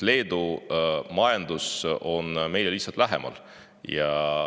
Leedu majandus on meile lihtsalt lähemal.